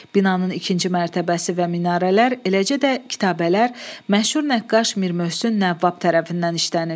Binanın ikinci mərtəbəsi və minarələr, eləcə də kitabələr məşhur nəqqaş Mir Möhsün Nəvvab tərəfindən işlənib.